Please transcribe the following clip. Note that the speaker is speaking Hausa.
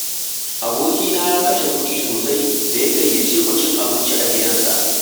Abokina ya kashe kuɗi sosai da ya gayyace mu cin abinci a gidansa